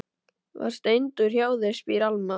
Var Steindór hjá þér, spyr Alma.